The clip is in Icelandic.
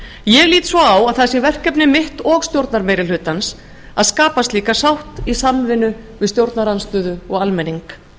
ég lít svo á að það sé verkefni mitt og stjórnarmeirihlutans að skapa slíka sátt í samvinnu við stjórnarandstöðu og almenning